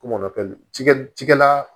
Kom'o kɛ cikɛ cikɛ la